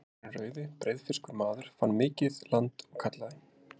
Eiríkur hinn rauði, breiðfirskur maður, fann mikið land og kallaði